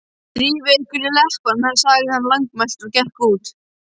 Drífið ykkur í leppana sagði hann lágmæltur og gekk út.